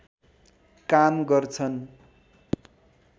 काम गर्छन्